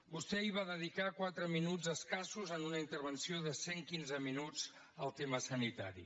vostè ahir va dedicar quatre minuts escassos en una intervenció de cent quinze minuts al tema sanitari